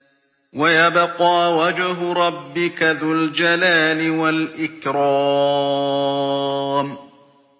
وَيَبْقَىٰ وَجْهُ رَبِّكَ ذُو الْجَلَالِ وَالْإِكْرَامِ